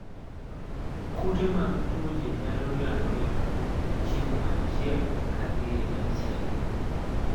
Kute mag tuoche nyalo landore ka owuok e chiemo achiel ka dhi emachielo